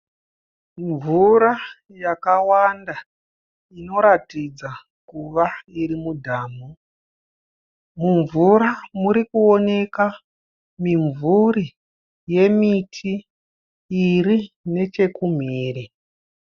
Mvura yakawanda inoratidza kuva iri mudhamu. Mumvura murikuoneka mimvuri yemiti iri nechekumhiri.